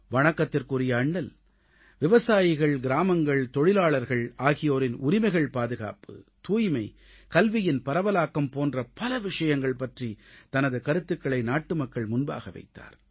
வணக்கத்திற்குரிய அண்ணல் விவசாயிகள் கிராமங்கள் தொழிலாளர்கள் ஆகியோரின் உரிமைகள் பாதுகாப்பு தூய்மை கல்வியின் பரவலாக்கம் போன்ற பல விஷயங்கள் பற்றித் தனது கருத்துகளை நாட்டுமக்கள் முன்பாக வைத்தார்